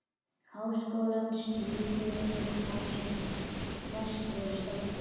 Háskólans til íbúðar fyrir þá, sem verst voru staddir.